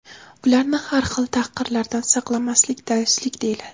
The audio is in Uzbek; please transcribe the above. ularni har xil tahqirlardan saqlamaslik "dayuslik" deyiladi.